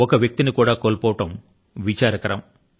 ఒక్క వ్యక్తి ని అయినా కోల్పోవడమన్నది విచారకరం